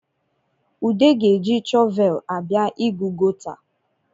Ude ga-eji shọvel abịa ịgụ gọta